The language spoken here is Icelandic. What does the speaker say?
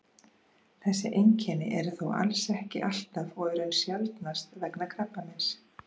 þessi einkenni eru þó alls ekki alltaf og í raun sjaldnast vegna krabbameins